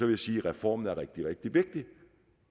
jeg sige at reformen rigtig rigtig vigtig